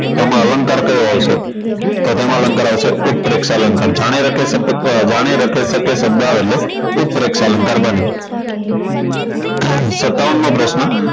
તો આમાં અલંકાર કયો આવશે તો તેમાં અલંકાર આવશે ઉત્કપ્રેસ અલંકાર જાણે રાખે શબ્દો જાણી રાખી શબ્દો આવે એટલે ઉત્કપ્રેસ અલંકાર બને સત્તાવન મો પ્રશ્ન